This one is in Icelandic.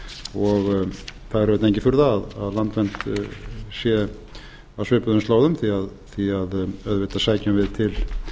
það er auðvitað engin furða að landvernd sé á svipuðum slóðum því auðvitað sækjum við til